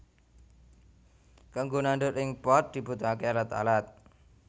Kanggo nandur ing pot dibutuhaké alat alat